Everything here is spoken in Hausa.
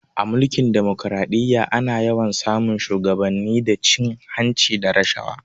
A Mulkin demokaraɗiyya ana yawan sa mun shuwagabanni da cin hanci da rashawa